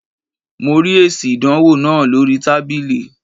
Mo rí èsì ìdánwò náà lóríi tábìlì